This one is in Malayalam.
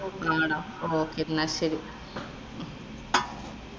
okay ഇന്നാ ശരി.